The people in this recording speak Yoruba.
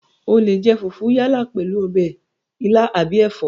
O leè jẹ fùfú yálà pèlú ọbẹ̀ ilá àbí ẹ̀fọ́